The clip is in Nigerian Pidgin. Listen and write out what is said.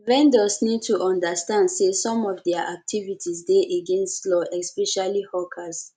vendors need to understand sey some of their activites dey against di law especially hawkers